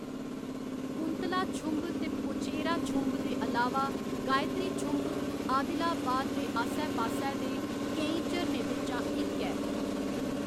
कुंतला छुंभ ते पोचेरा छुंभ दे अलावा गायत्री छुंभ आदिलाबाद दे आस्सै पास्सै दे केईं झरनें बिच्चा इक ऐ।